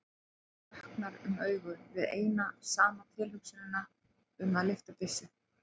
Honum vöknar um augu við eina saman tilhugsunina um að lyfta byssu.